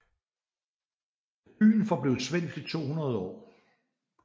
Byen forblev svensk i 200 år